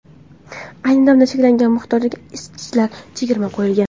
Ayni damda cheklangan miqdordagi isitgichlarga chegirma qo‘yilgan!